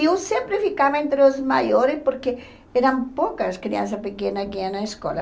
E eu sempre ficava entre os maiores porque eram poucas crianças pequenas que iam na escola.